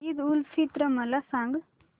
ईद उल फित्र मला सांग